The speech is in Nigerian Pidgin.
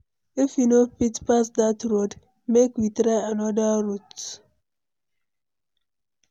If we no fit pass dat road, make we try anoda route.